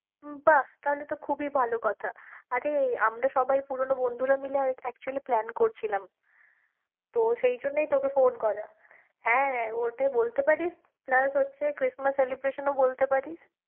বাহ্, তাহলে তো খুবই ভালো কথা, আরে আমরা সবাই পুরোনো বন্ধুরা মিলে আরে actually plan করছিলাম তো সেই জন্যেই তোকে phone করা হ্যাঁ, ওটাই বলতে পারিস, plus হচ্ছে Christmas celebration ও বলতে পারিস।